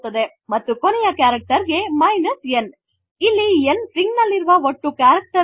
ಮತ್ತು ಕೊನೆಯ ಕರೆಕ್ಟೆರ್ ಗೆ ಇಲ್ಲಿ n ಸ್ಟ್ರಿಂಗ್ ನಲ್ಲಿರುವ ಒಟ್ಟು ಕರೆಕ್ಟೆರ್ ಗಳ ಸಂಖ್ಯೆ